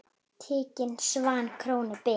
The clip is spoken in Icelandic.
Tiginn svanni krónu ber.